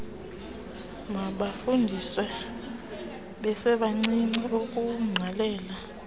mabafundiswe besebancinci ukuwugqalela